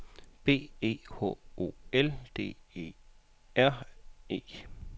B E H O L D E R E